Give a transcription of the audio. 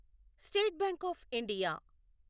state bank of India